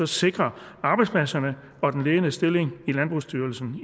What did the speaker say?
sikre arbejdspladserne og den ledende stilling i landbrugsstyrelsen